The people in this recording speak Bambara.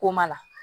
Ko ma na